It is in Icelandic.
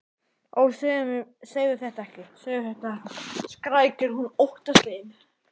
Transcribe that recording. Ó, segðu þetta ekki, segðu þetta ekki, skrækir hún óttaslegin.